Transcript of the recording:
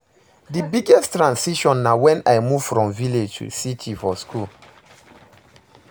di biggest transition na when i move from village to city for school.